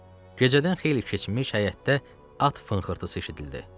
Gecədən xeyli keçmiş həyətdə at fınxırtısı eşidildi.